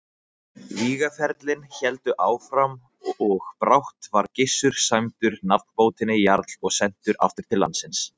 Vígaferlin héldu áfram og brátt var Gissur sæmdur nafnbótinni jarl og sendur aftur til landsins.